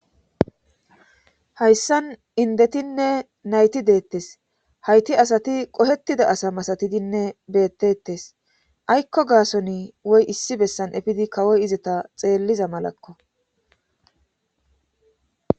hayssan indetinne nayti deettes hayti asati qohettida asa masatidinne beettetes aykko gaason woy issi bessan efidi kawoy izeta xeelliza malakko